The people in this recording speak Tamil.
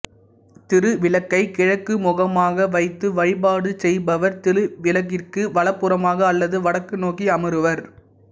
திருவிளக்கை கிழக்கு முகமாக வைத்து வழிபாடு செய்பவர் திருவிளக்கிற்கு வலப்புறமாக அல்லது வடக்கு நோக்கி அமருவர்